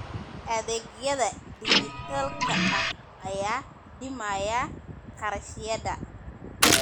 Adeegyada dijitaalka ah ayaa dhimaya kharashyada.